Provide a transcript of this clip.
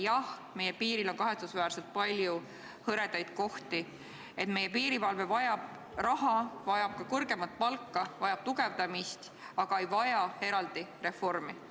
Jah, meie piiril on kahetsusväärselt palju hõredaid kohti, meie piirivalve vajab raha, vajab ka kõrgemat palka, vajab tugevdamist, aga ta ei vaja eraldi reformi.